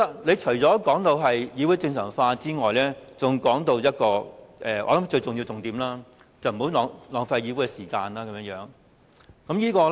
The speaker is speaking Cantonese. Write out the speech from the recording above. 他除了提到議會正常化，還提到我想是最重要的一點，便是不要浪費議會時間。